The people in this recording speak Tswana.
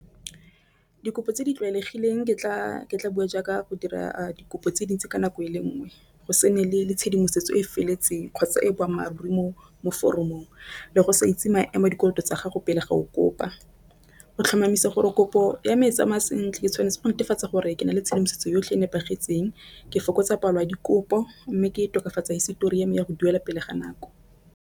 Dikopo tse di tlwaelegileng ke tla be jaaka go dira dikopo tse dintsi ka nako e le nngwe go se ne le tshedimosetso e e feletseng kgotsa e boammaaruri mo foromong, le go sa itse maemo dikoloto tsa ga go pele ga o kopa. O tlhomamisa gore kopo ya me e tsamaya sentle tshwanetse go netefatsa gore ke na le tshedimosetso yotlhe e nepagetseng ke fokotsa palo ya dikopo, mme gape e tokafatsa histori ya me ya go duela pele ga nako.